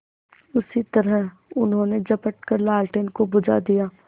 उसी तरह उन्होंने झपट कर लालटेन को बुझा दिया